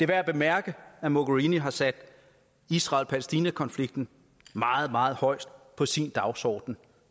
værd at bemærke at mogherini har sat israel palæstina konflikten meget meget højt på sin dagsorden